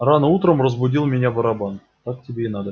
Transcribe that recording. рано утром разбудил меня барабан